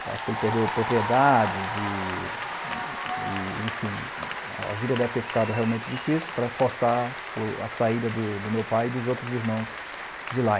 Acho que ele perdeu propriedades e e, enfim, a vida deve ter ficado realmente difícil para forçar a saída do do meu pai e dos outros irmãos de lá.